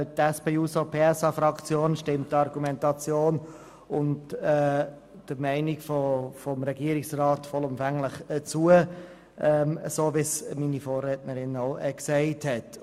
Die SP-JUSO-PSA-Fraktion stimmt der Argumentation und der Meinung des Regierungsrats vollumfänglich zu, so wie es meine Vorrednerinnen und Vorredner auch ausgeführt haben.